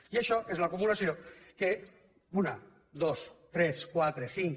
i això és l’acumulació que una dos tres quatre cinc